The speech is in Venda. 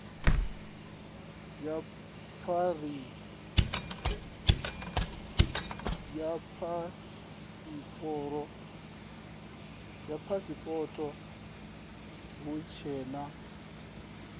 ya phasipoto hu tshee na